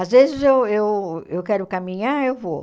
Às vezes eu eu eu quero caminhar, eu vou.